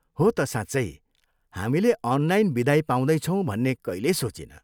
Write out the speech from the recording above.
हो त साँच्चै, हामीले अनलाइन बिदाइ पाउँदैछौँ भन्ने कहिल्यै सोचिनँ।